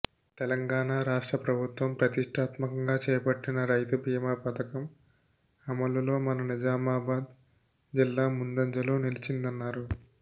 తెలంగాణ రాష్ట్ర ప్రభుత్వం ప్రతిష్టాత్మకంగా చేపట్టిన రైతు బీమా పథకం అమలులో మన నిజామాబాద్ జిల్లా ముందంజలో నిలిచిందన్నారు